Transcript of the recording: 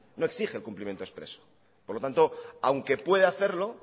no exige el cumplimiento expreso por lo tanto aunque puede hacerlo